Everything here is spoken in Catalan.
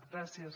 gràcies